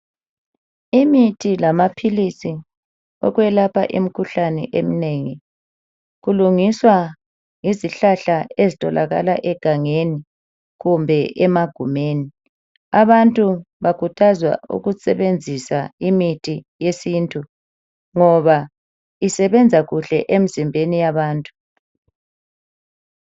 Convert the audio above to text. Imithi lamaphilisi okwelapha imikhuhlane eminengi kulungiswa yizihlahla ezitholakala egangeni kumbe emagumeni. Abantu bakhuthazwa ukusebenzisa imithi yesintu ngoba isebenza kuhle emzimbeni yabantu.